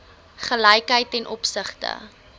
gelykheid ten opsigte